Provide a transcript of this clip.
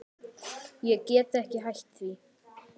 Ég get ekki hætt því.